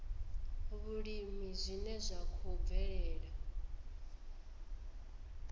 vhulimi zwine zwa khou bvelela